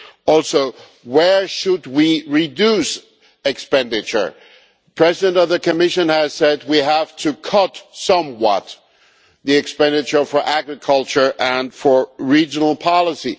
Also, where should we reduce expenditure? The President of the Commission has said we have to cut somewhat our expenditure on agriculture and on regional policy.